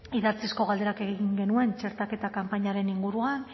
idatzizko galderak egin genituen txertaketa kanpainaren inguruan